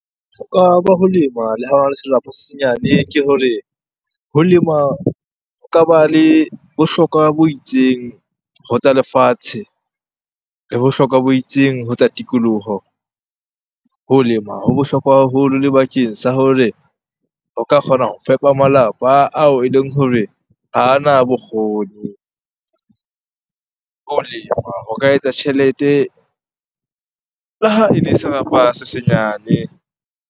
Bohlokwa ba ho lema le ha ona le serapa se senyane ke hore ho lema ho ka ba le bohlokwa bo itseng ho tsa lefatshe le bohlokwa bo itseng ho tsa tikoloho. Ho lema ho bohlokwa haholo le bakeng sa hore o ka kgona ho fepa malapa ao eleng hore hana bokgoni. Ho lema ho ka etsa tjhelete le ha ele serapa se senyane.